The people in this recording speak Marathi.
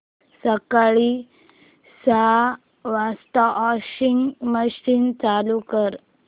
सकाळी सहा वाजता वॉशिंग मशीन चालू कर